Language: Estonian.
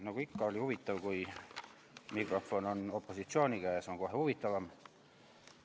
Nagu ikka on huvitav, kui mikrofon on opositsiooni käes, siis on kohe huvitavam.